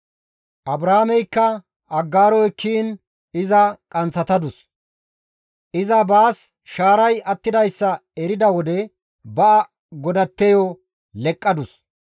Abraameykka Aggaaro ekkiin iza qanththatadus; iza baas shaaray attidayssa erida wode ba godatteyo leqqadus.